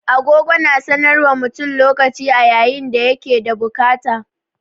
Agogo na sanar wa mutum lokaci a yayin da ya ke da bukata.